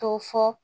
To fɔ